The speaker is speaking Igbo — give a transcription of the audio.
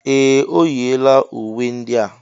Ee! O yiela uwe ndị a.